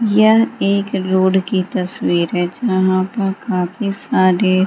यह एक रोड की तस्वीर है जहाँ पर काफी सारे --